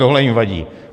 Tohle jim vadí.